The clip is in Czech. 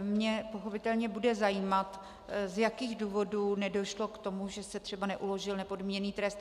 mě pochopitelně bude zajímat, z jakých důvodů nedošlo k tomu, že se třeba neuložil nepodmíněný trest.